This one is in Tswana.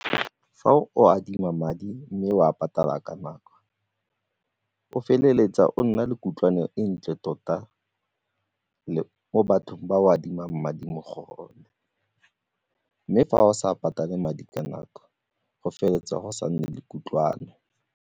Fa o adima madi mme o a patala ka nako o feleletsa o nna le kutlwano e ntle tota mo bathong ba o adimang madi mo go bone, mme fa o sa patale madi ka nako go feleletsa go sa nne le kutlwano.